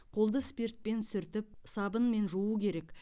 қолды спиртпен сүртіп сабынмен жуу керек